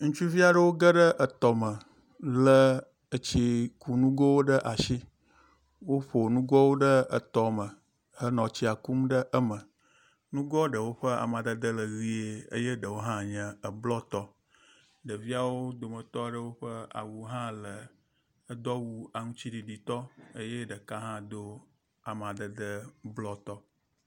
Ŋutsuvi aɖewo geɖe etɔ me le etsikunugowo ɖe asi. Woƒo nugoawo ɖe etɔme henɔ tsia kum ɖe eme. Nugoa ɖewo ƒe amadede le ʋi eye eɖewo hã nye eblɔtɔ. Ɖeviawo dometɔ aɖewo ƒe awu hã le edo awu aŋtsiɖiɖi tɔ eye ɖeka hã do amadede blɔ tɔ.